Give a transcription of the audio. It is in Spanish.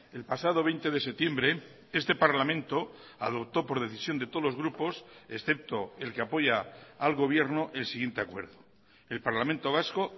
el pasado veinte de septiembre este parlamento adoptó por decisión de todos los grupos excepto el que apoya al gobierno el siguiente acuerdo el parlamento vasco